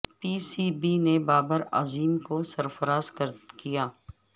پی C B نے بابر اعظم کو سرفراز کیا